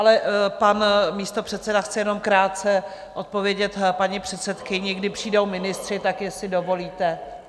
Ale pan místopředseda chce jenom krátce odpovědět paní předsedkyni, kdy přijdou ministři, tak jestli dovolíte?